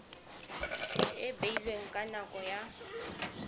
e beilweng ka nako ya